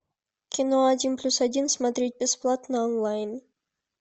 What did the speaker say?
кино один плюс один смотреть бесплатно онлайн